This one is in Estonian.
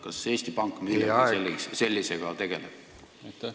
Kas Eesti Pank millegi sellisega tegeleb?